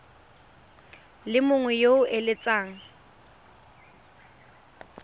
le mongwe yo o eletsang